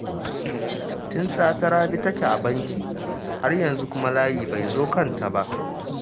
Tun safe Rabi take a banki, har yanzu kuma layi bai zo kanta ba